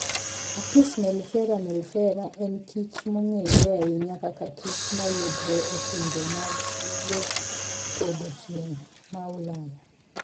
Apis mellifera mellifera: En kit kich mongere ahinya kaka kich ma yudore e pinje mag yopodho chieng ma ulaya.